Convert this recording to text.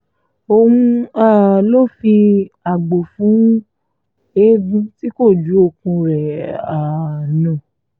òun um ló fi àgbò fún eegun tí kò ju okùn rẹ̀ um nù